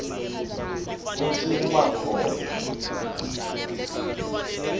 kutsi kuba khona